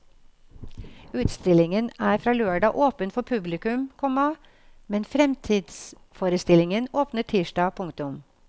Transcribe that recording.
Utstillingen er fra lørdag åpen for publikum, komma men fremtidsforestillingen åpner tirsdag. punktum